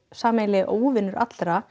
sameiginlegi óvinur allra